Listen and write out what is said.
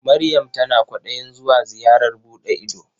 Maryam tana kwaɗayin zuwa ziyarar buɗe ido.